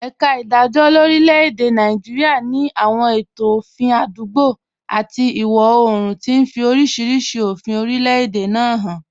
Ẹ̀ka ìdájọ́ lórílẹ̀-èdè Nàìjíríà ní àwọn ètò òfin àdúgbò àti ìwọ̀ oòrùn, tí ń fi oríṣiríṣi òfin orílẹ̀-èdè náà hàn.